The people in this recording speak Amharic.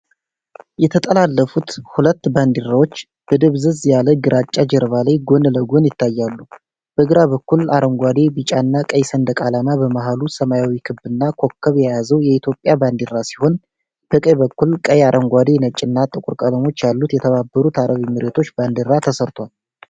የተጠላለፉት ሁለት ባንዲራዎች በደብዘዝ ያለ ግራጫ ጀርባ ላይ ጎን ለጎን ይታያሉ። በግራ በኩል፣ አረንጓዴ፣ ቢጫና ቀይ ሰንደቅ ዓላማ በመሃሉ ሰማያዊ ክብና ኮከብ የያዘው የኢትዮጵያ ባንዲራ ሲሆን፣ በቀኝ በኩል ቀይ፣ አረንጓዴ፣ ነጭና ጥቁር ቀለሞች ያሉት የተባበሩት አረብ ኤሚሬቶች ባንዲራ ተስሏል።